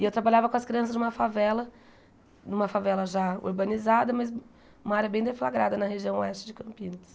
E eu trabalhava com as crianças de uma favela, numa favela já urbanizada, mas uma área bem deflagrada na região oeste de Campinas.